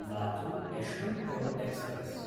Latur Yesvantpur express